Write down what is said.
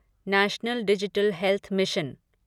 national digital health mission